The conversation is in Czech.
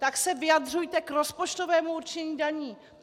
Tak se vyjadřujte k rozpočtovému určení daní!